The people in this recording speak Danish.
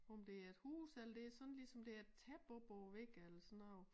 Om det er et hus eller det sådan lige som det er et tæppe op over æ væg eller sådan noget